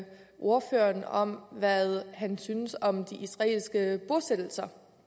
ordføreren hvad han synes om de israelske bosættelser